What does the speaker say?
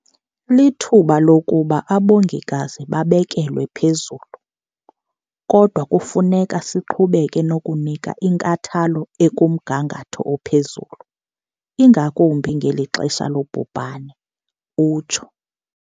"Lithuba lokuba abongikazi babekelwe phezulu, kodwa kufuneka siqhubeke nokunika inkathalo ekumgangatho ophezulu, ingakumbi ngeli xesha lobhubhane," utsho.